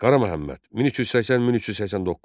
Qara Məhəmməd, 1380-1389.